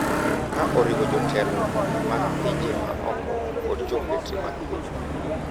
Ka oriwo jotelo mag pinje ma oko kod jombetre mag pinyno,